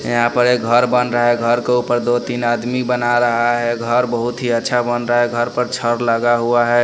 यहाँ पर एक घर बन रहा है घर के ऊपर दो तीन आदमी बना रहा है घर बहुत ही अच्छा बन रहा है घर पर छर लगा हुआ है।